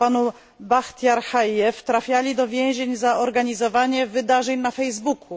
o panu Bahtijarze Hadżijewie trafiali do więzień za organizowanie wydarzeń na Facebooku.